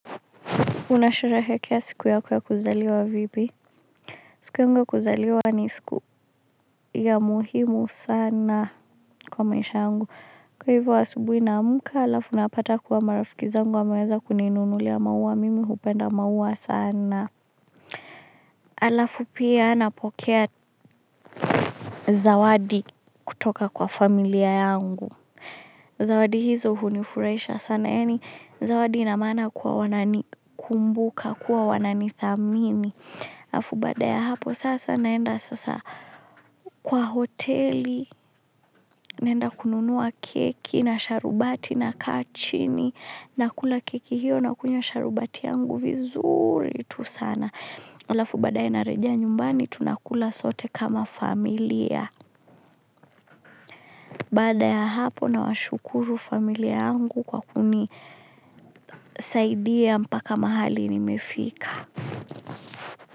Unasherehekea siku yako ya kuzaliwa vipi siku yangu ya kuzaliwa ni siku ya muhimu sana kwa maisha yangu kwa hivyo asubuhi naamka halafu napata kuwa marafiki zangu wameweza kuninunulia maua mimi hupenda maua sana halafu pia napokea zawadi kutoka kwa familia yangu zawadi hizo hunifurahisha sana yaani zawadi ina maana kuwa wananikumbuka kuwa wananidhamini halafu baada ya hapo sasa naenda sasa kwa hoteli naenda kununua keki na sharubati nakaa chini nakula keki hiyo nakunywa sharubati yangu vizuri tu sana halafu baadae narejea nyumbani tunakula sote kama familia baada ya hapo nawashukuru familia yangu kwa kunisaidia mpaka mahali nimefika.